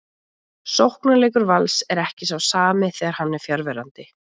Sóknarleikur Vals er ekki sá sami þegar hann er fjarverandi.